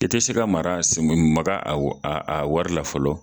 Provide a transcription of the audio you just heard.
I tɛ se ka mara maka a a wari la fɔlɔ